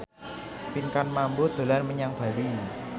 Pinkan Mambo dolan menyang Bali